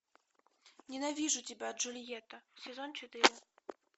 ненавижу тебя джульетта сезон четыре